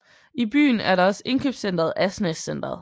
I byen er der også indkøbscentret Asnæs Centret